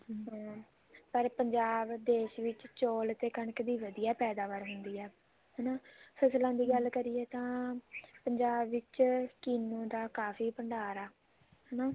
ਹਮ ਪਰ ਪੰਜਾਬ ਦੇਸ਼ ਵਿੱਚ ਚੋਲ ਤੇ ਕਣਕ ਦੀ ਵਧੀਆ ਪੈਦਾਵਰ ਹੁੰਦੀ ਆ ਹਨਾ ਫਸਲਾਂ ਦੀ ਗੱਲ ਕਰੀਏ ਤਾਂ ਪੰਜਾਬ ਵਿੱਚ ਕਿੰਨੂ ਦਾ ਕਾਫੀ ਭੰਡਾਰ ਆ